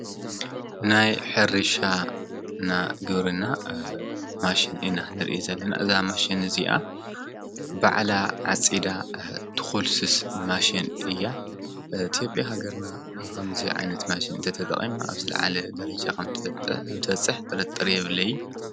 ናይ ሕርሻ እና ግብርና ማሽን ኢና ንርኢ ዘለና። እዛ ማሽን እዚኣ ባዕላ ዓፂዳ ትኩልስስ ማሽን እያ። ኢትዮጵያ ሃገርና ከምዚ ዓይነት ማሽን እንተተጠቒማ አብ ዝለዓለ ደረጃ ከም እትበፅሕ ጥርጥር የብለይን።